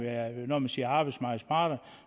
når man siger arbejdsmarkedets parter